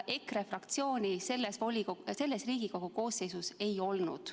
EKRE fraktsiooni selles Riigikogu koosseisus ei olnud.